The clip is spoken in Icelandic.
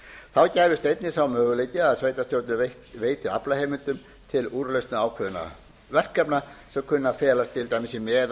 þar gæfist einnig sá möguleiki að sveitarstjórnir veiti aflaheimildum til úrlausna ákveðinna verkefna sem kunna að felast til dæmis í